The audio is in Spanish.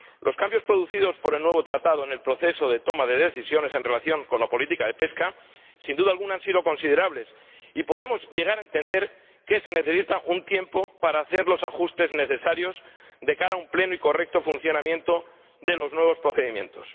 Los cambios producidos por el nuevo Tratado en el proceso de toma de decisiones en relación con la política de pesca han sido, sin duda alguna, considerables y podemos llegar a entender que se necesita un tiempo para hacer los ajustes necesarios de cara a un pleno y correcto funcionamiento de los nuevos procedimientos.